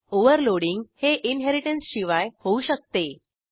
overloading हे इनहेरिटन्सशिवाय होऊ शकते